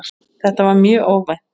Þetta var mjög óvænt.